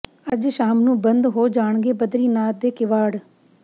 ਅੱਜ ਸ਼ਾਮ ਨੂੰ ਬੰਦ ਹੋ ਜਾਣਗੇ ਬਦਰੀਨਾਥ ਦੇ ਕਿਵਾੜ